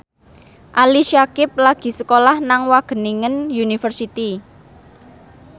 Ali Syakieb lagi sekolah nang Wageningen University